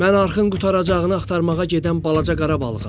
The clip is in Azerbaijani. Mən arxın qurtaracağını axtarmağa gedən balaca qara balığam.